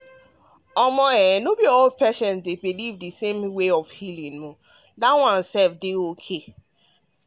as e um be so no be all patients believe um believe um the same um healing way and that one dey okay.